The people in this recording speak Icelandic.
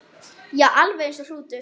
Já, alveg eins og hrútur.